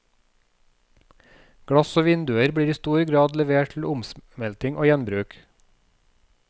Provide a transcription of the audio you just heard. Glass og vinduer blir i stor grad levert til omsmelting og gjenbruk.